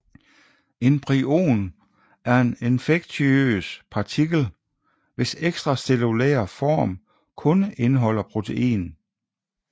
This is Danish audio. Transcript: En prion er en infektiøs partikel hvis ekstracellulære form kun indeholder protein